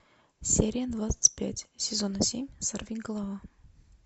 серия двадцать пять сезона семь сорвиголова